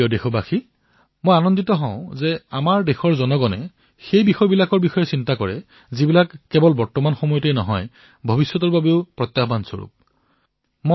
মোৰ মৰমৰ দেশবাসীসকল মই এই কথাত সুখী হৈছো যে আমাৰ দেশৰ লোকে সেই বিষয়সমূহৰ ওপৰত চিন্তা কৰিছে যি কেৱল বৰ্তমানৰ বাবে নহয় ভৱিষ্যতৰ বাবেও এক বৃহৎ প্ৰত্যাহ্বান হব পাৰে